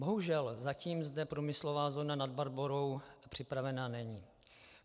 Bohužel zatím zde průmyslová zóna Nad Barborou připravena není.